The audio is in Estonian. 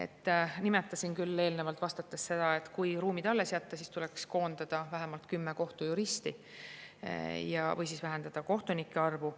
Ma juba nimetasin eelnevalt vastates seda, et kui ruumid alles jätta, siis tuleks koondada vähemalt kümme kohtujuristi või siis vähendada kohtunike arvu.